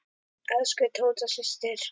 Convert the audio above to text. Elsku Tóta systir.